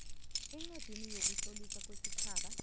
encwadini yokutloliswa kwesitjhaba